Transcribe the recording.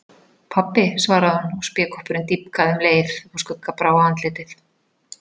Pabbi, svaraði hún og spékoppurinn dýpkaði um leið og skugga brá á andlitið.